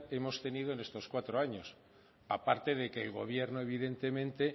hemos tenido en estos cuatro años aparte de que el gobierno evidentemente